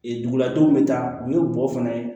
Ee duguladenw bɛ taa u ye bɔ fana